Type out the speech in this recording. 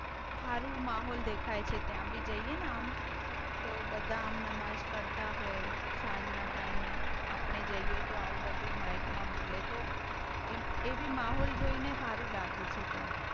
સારુ માહોલ દેખાય છે ત્યાં બી જઈએ. આમ તો બધા આમ નમાજ પડતા હોય. સાંજ ના ટાઇમ એ આપણે જઈએ તો આવું બધું માઇક માં બોલે તો એવી માહોલ જોઈ ને સારું લાગે છે ત્યાં